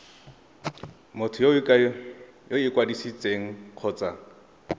motho yo o ikwadisitseng kgotsa